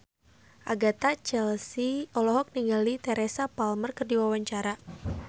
Agatha Chelsea olohok ningali Teresa Palmer keur diwawancara